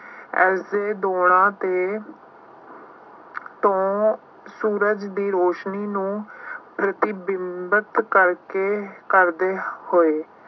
ਇਸਦੇ ਤੇ ਤੋਂ ਸੂਰਜ ਦੀ ਰੌਸ਼ਨੀ ਨੂੰ ਪ੍ਰਤੀਬਿੰਬਤ ਕਰਕੇ ਕਰਦੇ ਹੋਏ